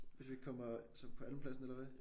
Hvis vi ikke kommer så på andenpladsen eller hvad?